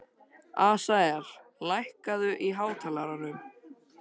Asael, lækkaðu í hátalaranum.